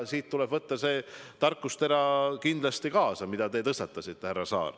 See tarkusetera, mille te tõstatasite, härra Saar, tuleb kindlasti kaasa võtta.